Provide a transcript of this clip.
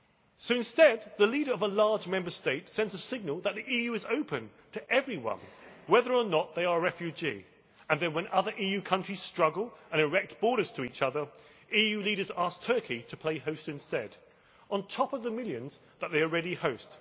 So instead, the leader of a large Member State sends a signal that the EU is open to everyone, whether or not they are refugees, and then, when other EU countries struggle and erect borders between each other, EU leaders ask Turkey to play host instead on top of the millions that they already host.